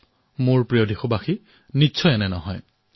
মোৰ মোৰ মৰমৰ দেশবাসীসকল মুঠেই নহয়